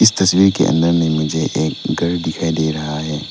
तस्वीर के अंदर में मुझे एक घर दिखाई दे रहा है।